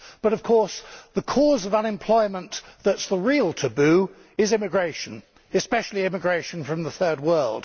But the cause of unemployment which is the real taboo is immigration, especially immigration from the Third World.